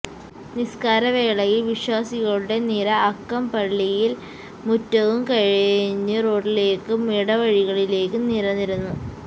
നിസ്കാര വേളയിൽ വിശ്വാസികളുടെ നിര അകം പള്ളിയും മുറ്റവും കഴിഞ്ഞു റോഡിലേക്കും ഇട വഴികളിലേക്കും നിരന്നിരുന്നു